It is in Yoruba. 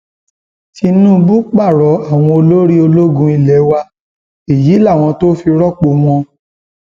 tinúbù pààrọ àwọn olórí ológun ilé wa èyí làwọn tó fi rọpò wọn